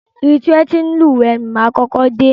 Ibi ti wọn ti ń lúwẹ̀ẹ́ ni máa kọ́kọ́ dé.